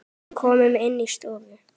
Komum inn í stofu!